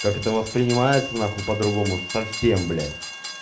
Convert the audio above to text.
как это воспринимается нахуй по-другому совсем блядь